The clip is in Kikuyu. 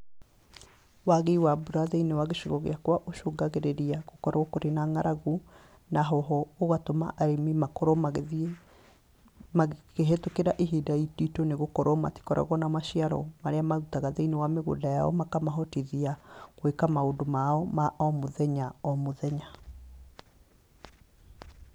Waagi wa mbura thĩinĩ wa gĩcigo gĩakwa ũcũngagĩrĩria gũkorwo kũrĩ na ng'aragu, na ho ho, ũgatũma arĩmi makorwo magĩthiĩ magĩkĩhĩtũkĩra ihinda iritũ nĩ gũkorwo matikoragwo na maciaro marĩa marutaga thĩinĩ wa mĩgũnda yao, makamahotithia gwĩka maũndũ mao ma o mũthenya o mũthenya.